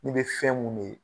I be fɛn munnu ye .